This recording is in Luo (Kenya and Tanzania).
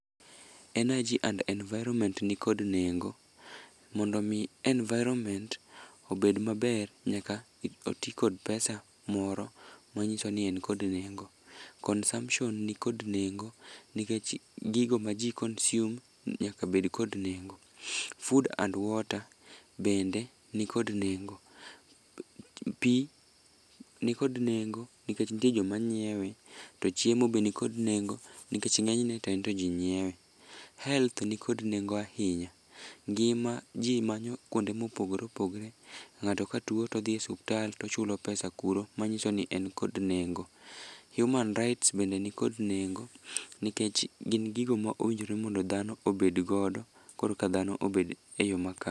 Energy & environment ni kod nengo. Mondo mi environment obed maber, nyaka oti kod pesa moro ma nyiso ni en kod nengo. Consumption ni kod nengo nikech gigo ma ji consume nyaka bed kod nengo. Food & water bende ni kod nengo. Pi ni kod nengo nikech nitie joma nyiewe, to chiemo be nikod nengo nikech ng'enyne to ento ji nyiewe. Health ni kod nengo ahinya, ngima ji manyo kuonde mopogore opogore. Ng'ato ka tuo todhie suptal tochulo pesa kuro, manyiso ni en kod nengo. Human rights bende nikod nengo, nikech gin gigo ma owinjore mondo dhano obedgodo koreka dhano obed e yo mak.